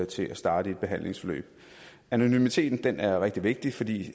til at starte i et behandlingsforløb anonymiteten er rigtig vigtig fordi